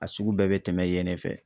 A sugu bɛɛ bɛ tɛmɛ yen ne fɛ.